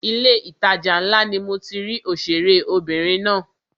Ilé ìtajà ńlá ni mo ti rí òṣèré obìnrin náà.